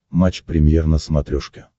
матч премьер на смотрешке